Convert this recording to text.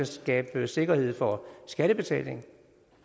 skabe sikkerhed for skattebetalingen